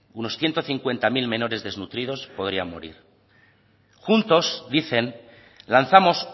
unos ciento cincuenta mil menores desnutridos podrían morir juntos dicen lanzamos